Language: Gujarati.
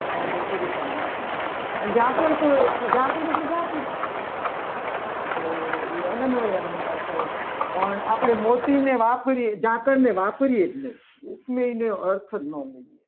તો એ વ્યક્તિગત અલંકાર થયો પણ ઝાકળ તો ઝાકળ એટલે ઝાકળ તો એ આનંદવય અલંકાર થયો. પણ આપણે મોતીને વાપરીએ ઝાકળ ને વાપરીએ છીએ ઉપમેય નો અર્થ ના મળે.